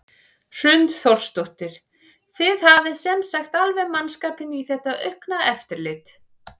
Hrund Þórsdóttir: Þið hafið sem sagt alveg mannskap í þetta aukna eftirlit?